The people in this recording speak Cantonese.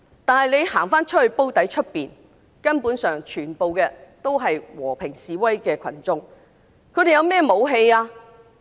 但在"煲底"外面，全部都是和平示威的群眾，他們有甚麼武器？